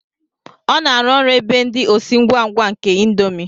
Ọ na-arụ ọrụ ebe ndị osi ngwa ngwa nke índomi